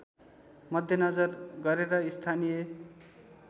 मध्यनजर गरेर स्थानीय